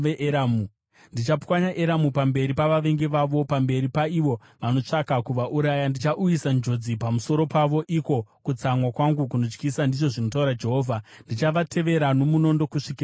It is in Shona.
Ndichapwanya Eramu pamberi pavavengi vavo, pamberi paivo vanotsvaka kuvauraya; ndichauyisa njodzi pamusoro pavo, iko kutsamwa kwangu kunotyisa,” ndizvo zvinotaura Jehovha. “Ndichavatevera nomunondo kusvikira ndavapedza.